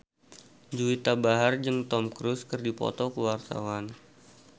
Juwita Bahar jeung Tom Cruise keur dipoto ku wartawan